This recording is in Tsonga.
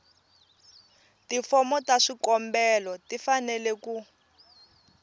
tifomo ta swikombelo tifanele ku